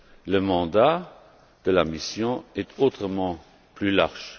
Le mandat de la mission est autrement plus large.